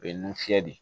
O ye nun fiyɛ de ye